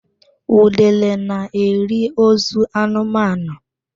Udele na-eri ozu anụmanụ